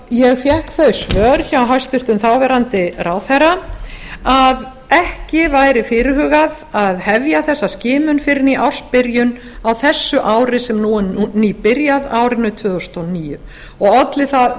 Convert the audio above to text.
ég fékk þau svör frá hæstvirtur þáverandi ráðherra að ekki væri fyrirhugað að hefja þessa skimun fyrr en í ársbyrjun á þessu ári sem nú er nýbyrjað á árinu tvö þúsund og níu og olli það